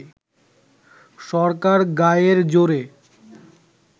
সরকার গায়ের জোরে